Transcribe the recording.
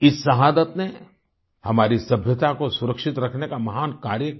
इस शहादत ने हमारी सभ्यता को सुरक्षित रखने का महान कार्य किया